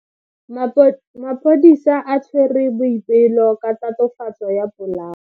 Maphodisa a tshwere Boipelo ka tatofatso ya polao.